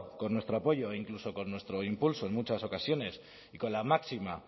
con nuestro apoyo e incluso con nuestro impulso en muchas ocasiones y con la máxima